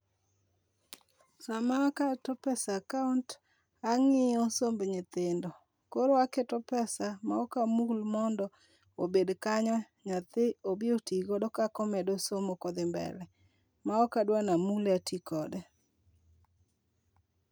Sama aketo pesa e account ang'iyo somb nyithindo koro aketo pesa ma ok amul mondo obed kanyo nyathi obi oti godo kak omedo somo kodhi mbele ma ok adwar ni amule ati kode.